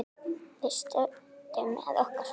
Við stöndum með okkar fólki.